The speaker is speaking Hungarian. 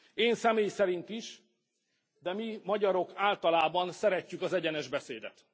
Én személy szerint is, de mi, magyarok általában szeretjük az egyenes beszédet.